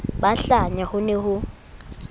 ba hlanya ho ne ho